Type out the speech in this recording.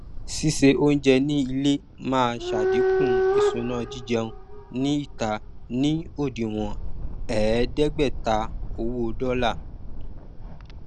sísè oúnjẹ ní ilé máa ṣàdínkù ìṣúná jíjẹun ní ìta ní òdiwọn ẹẹdẹgbẹta owó dọlà